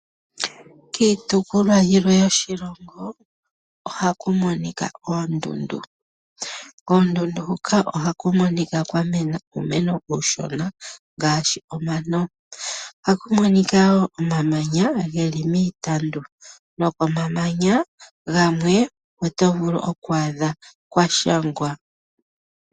Kiitukulwa yilwe yoshilongo ohaku monika oondundu. Koondundu huka ohaku monika kwamena uumeno uushona , ngaashi omano, ohaku monika wo omamanya geli miitandu nokomamanya gamwe otovulu oku adha kwashangwa.